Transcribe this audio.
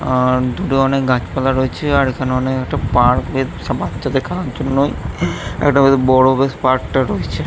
আর দুধরণের গাছপালা রয়েছে আর এইখানে অনেক একটা পার্ক -এ বাচ্চাদের খেলার জন্যই > একটা বেশ বড় বেশ পার্ক -টা রয়েছে।